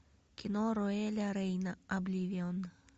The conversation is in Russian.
кино роэля рейна обливион